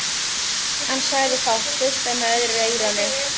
Hann sagði fátt, hlustaði með öðru eyranu.